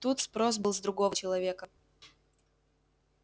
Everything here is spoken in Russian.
тут спрос был с другого человека